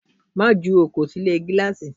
Má jù ọkọ sì ilé gíláàsì!